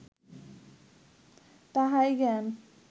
তাহাই জ্ঞান